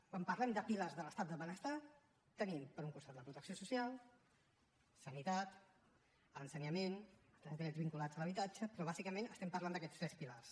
quan parlem de pilars de l’estat del benestar tenim per un costat la protecció social sanitat ensenyament els drets vinculats a l’habitatge però bàsicament estem parlant d’aquests tres pilars